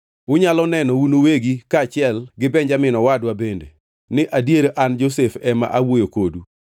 “Unyalo neno un uwegi, kaachiel gi Benjamin owadwa bende, ni adier an Josef ema awuoyo kodu.